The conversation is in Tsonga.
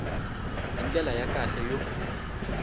hi ndlela ya kahle yo